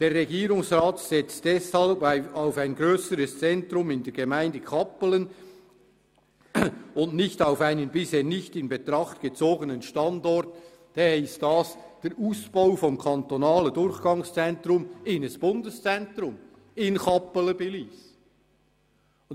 «Der Regierungsrat setzt deshalb auf ein grösseres Zentrum in der Gemeinde Kappelen und nicht auf einen bisher nicht in Betracht gezogenen Standort» bedeutet das den Ausbau des kantonalen Durchgangszentrums in ein Bundeszentrum in Kappelen bei Lyss.